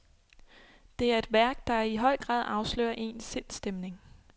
Det er et værk, der i høj grad afslører ens sindsstemning.